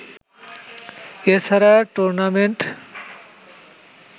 এছাড়া টুর্নামেন্টে